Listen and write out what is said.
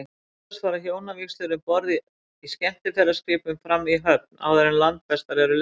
Oftast fara hjónavígslur um borð í skemmtiferðaskipum fram í höfn, áður en landfestar eru leystar.